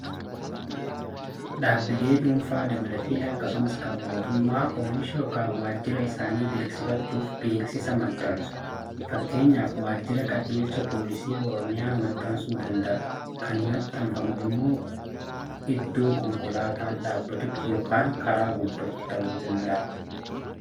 Dhaabbilee dhuunfaa dabalatee, akkasumas kan mootummaa oomisha yookaan waajira isaanii beeksifachuuf beeksisa maxxansu. Fakkeenyaaf Waajjirri qajeelcha poolisii Oromiyaa maxxansuu danda'a. Kan maxxanfamu immoo iddoo konkolaataan dhaabbatutti yookaan karaa gubbaatti ta'uu danda.